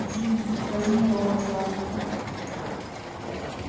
джинни возьми рона за руку